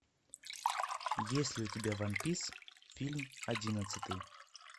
есть ли у тебя ван пис фильм одиннадцатый